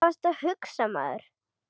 Hvað varstu að hugsa maður?